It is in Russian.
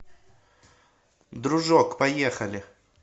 дружок поехали